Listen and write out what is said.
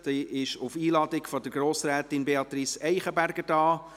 Sie ist auf Einladung von Grossrätin Beatrice Eichenberger da.